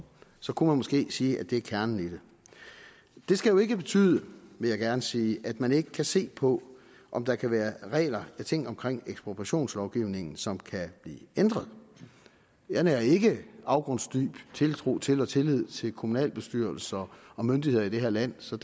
så kunne man måske sige at det er kernen i det det skal jo ikke betyde vil jeg gerne sige at man ikke kan se på om der kan være regler og ting omkring ekspropriationslovgivningen som kan blive ændret jeg nærer ikke afgrundsdyb tiltro til og tillid til kommunalbestyrelser og myndigheder i det her land så